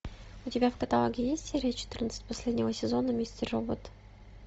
у тебя в каталоге есть серия четырнадцать последнего сезона мистер робот